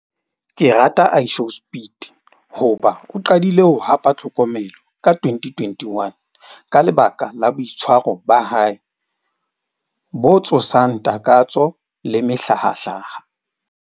Ke rata IShowSpeed hoba o qadile ho hapa tlhokomelo ka twenty twenty-one, ka lebaka la boitshwaro ba hae bo tshosang takatso le mehlahahlaha.